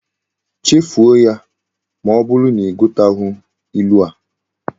Chefuo ya! ma oburu na ighotaghi ilu ahu